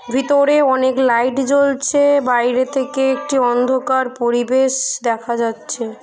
ভিতরে অনেক লাইট জ্বলছে বাইরে থেকে একটি অন্ধকার পরিবেশ দেখা যাচ্ছে।